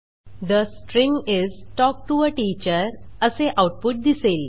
the string is talk to a teacher असे output दिसेल